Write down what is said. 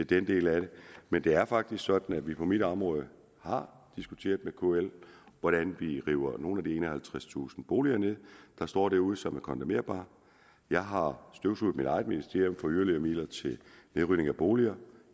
den del af det men det er faktisk sådan at vi på mit område har diskuteret med kl hvordan vi river nogle af de enoghalvtredstusind boliger ned der står derude og som er kondemnerbare jeg har støvsuget mit eget ministerium for yderligere midler til nedrivning af boliger